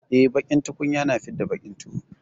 Eh, baƙin tukunya na fidda baƙin tuwo.